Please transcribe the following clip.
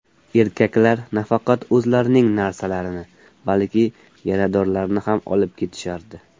Erkaklar nafaqat o‘zlarining narsalarini, balki yaradorlarni ham olib ketishardi.